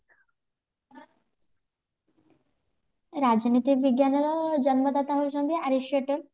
ରାଜନୈତିକ ବିଜ୍ଞାନ ର ଜନ୍ମ ଦାତା ହେଉଛନ୍ତି ଆର୍ରିସ୍ଟାଟଲ